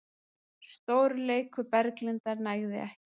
Stórleikur Berglindar nægði ekki